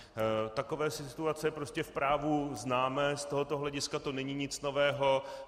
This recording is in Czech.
Takové situace prostě v právu známe, z tohoto hlediska to není nic nového.